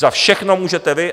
Za všechno můžete vy.